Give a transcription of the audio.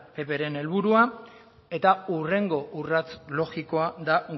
beren helburua eta hurrengo urrats logikoa da